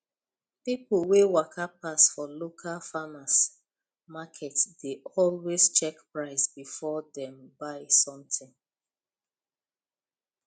people wey waka pass for local farmers market dey always check price before dem buy something